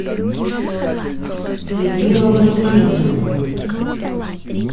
людмила валентиновна